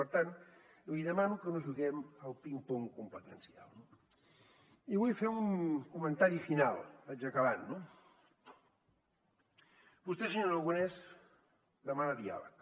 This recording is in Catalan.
per tant li demano que no juguem al ping pong competencial no i vull fer un comentari final vaig acabant no vostè senyor aragonès demana diàleg